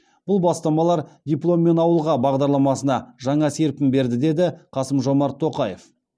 бұл бастамалар дипломмен ауылға бағдарламасына жаңа серпін берді деді қасым жомарт тоқаев